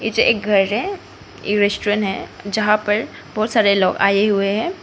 यह एक घर है एक रेस्टोरेंट है जहां पर बहोत सारे लोग आए हुए हैं।